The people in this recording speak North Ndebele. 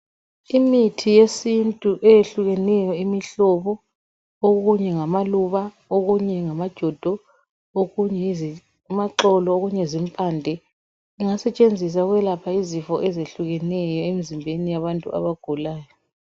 Imithi yesintu eyehlukeneyo imihlobo okunye ngama luba okunye ngama jodo okunye ngama xolo okunye zimpande kungasetshenziswa ukwelapha izifo ezehlukeneyo emzimbeni yabantu abagulayo.